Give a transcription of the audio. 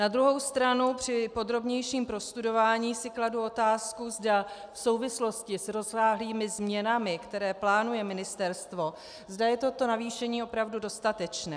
Na druhou stranu při podrobnějším prostudování si kladu otázku, zda v souvislosti s rozsáhlými změnami, které plánuje ministerstvo, zda je toto navýšení opravdu dostatečné.